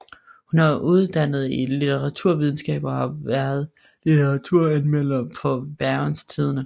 Hun er uddannet i litteraturvidenskab og har været litteraturanmelder på Bergens Tidende